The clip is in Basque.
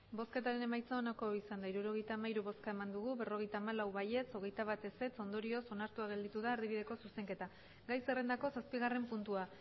emandako botoak hirurogeita hamairu bai berrogeita hamalau ez hogeita bat ondorioz onartua gelditu da erdibideko zuzenketa gai zerrendako zazpigarren puntua